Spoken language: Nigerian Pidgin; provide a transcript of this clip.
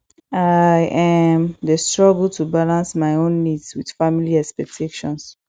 i um dey struggle to balance my own needs with family expectations